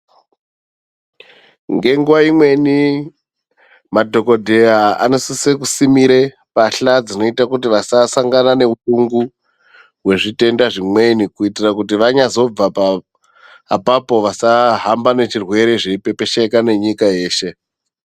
Ngenguva imweni madhogodheya anosise kusimire mbahla dzinoite kuti vasasangana neupungu hwezvitenda zvimweni. Kuitira kuti vanyazobva apapo vasahambe ngechirwere zveipepesheka nenyika yeshe.